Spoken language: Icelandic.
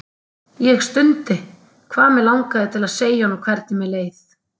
Ég stundi, hvað mig langaði til að segja honum hvernig mér leið.